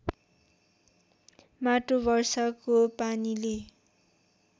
माटो वर्षाको पानीले